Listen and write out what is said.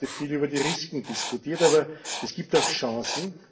Wir haben heute viel über die Risiken diskutiert, aber es gibt auch Chancen.